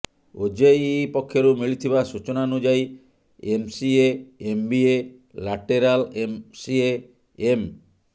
OJEE ପକ୍ଷରୁ ମିଳିଥିବା ସୂଚନାନୁଯାୟୀ MCA MBA lateral MCA M